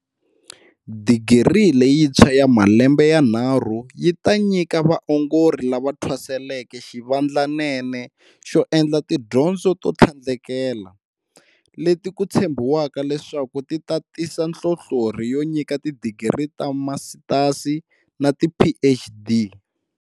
Digiri leyintshwa ya malembe yanharhu yi ta nyika vaongori lava thwaseleke xivandlanene xo endla tidyondzo to tlhandlekela, leti ku tshembiwaka leswaku ti ta tisa nhlonhlorhi yo nyika tidigiri ta timasitasi na tiPhD.